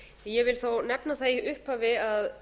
ég vil þó nefna það í upphafi að